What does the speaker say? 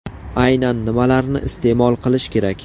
Aynan nimalarni iste’mol qilish kerak?